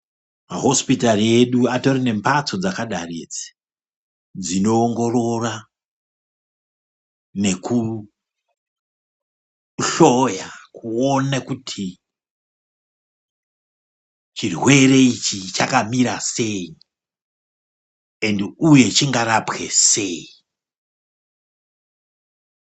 Mahosipitari edu atori nembatso dzakadai idzi dzinoongorora nekuhloya kuone kuti chirwere ichi chakamira sei ende uye chingarapwe sei.